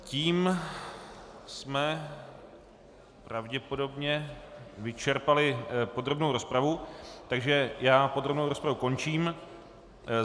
Tím jsme pravděpodobně vyčerpali podrobnou rozpravu, takže já podrobnou rozpravu končím.